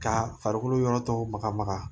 Ka farikolo yɔrɔ dɔw maga maga